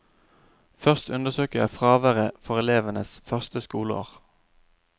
Først undersøker jeg fraværet for elevenes første skoleår.